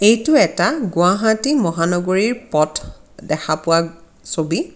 এইটো এটা গুৱাহাটী মহানগৰীৰ পথ দেখা পোৱা ছবি।